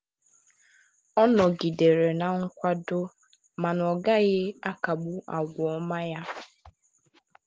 ọ nọgidere na nkwado mana ọ gaghị akagbu àgwà ọma ya.